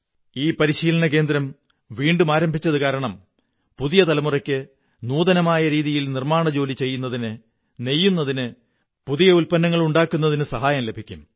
ഈ പരിശീലന കേന്ദ്രം വീണ്ടും ആരംഭിച്ചതു കാരണം പുതിയ തലമുറയ്ക്ക് നൂതനമായ രീതിയിൽ നിര്മ്മാ ണജോലി ചെയ്യുന്നതിന് നെയ്യുന്നതിന് പുതിയ ഉത്പന്നങ്ങൾ ഉണ്ടാക്കുന്നതിന് സഹായം ലഭിക്കും